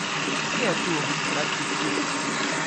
Kje je tu kratki stik?